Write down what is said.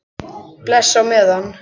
Bless á meðan.